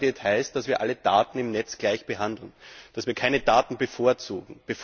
Netzneutralität heißt, dass wir alle Daten im Netz gleich behandeln, dass wir keine Daten bevorzugen.